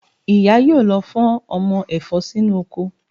Ìyá yóò lọ fọ́n ọmọ ẹ̀fọ́ sínú oko